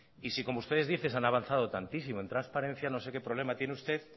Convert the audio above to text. y si como ustedes dicen han avanzado tantísimo en transparencia no sé qué problema tiene usted